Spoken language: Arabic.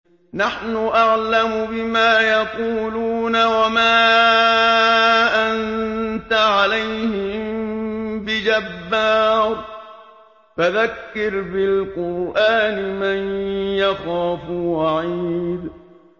نَّحْنُ أَعْلَمُ بِمَا يَقُولُونَ ۖ وَمَا أَنتَ عَلَيْهِم بِجَبَّارٍ ۖ فَذَكِّرْ بِالْقُرْآنِ مَن يَخَافُ وَعِيدِ